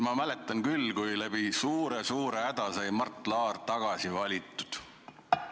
Ma mäletan küll, kui suure-suure hädaga sai Mart Laar tagasi valitud.